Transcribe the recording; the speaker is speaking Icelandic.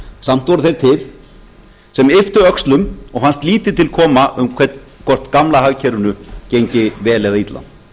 samt voru þeir til sem ypptu öxlum og fannst lítið til koma um hvort gamla hagkerfinu gengi vel eða illa